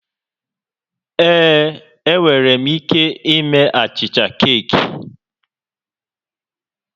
Ee, enwere m ike ime achịcha keeki